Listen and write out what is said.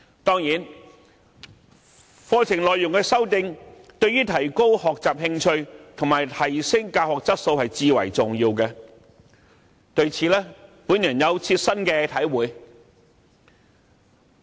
當然，對提高學習興趣及提升教學質素，課程內容的修訂至為重要。